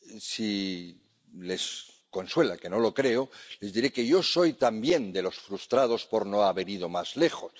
Si les consuela, que no lo creo, les diré que yo soy también de los frustrados por no haber ido más lejos